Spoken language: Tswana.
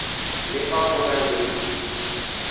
le fa go na le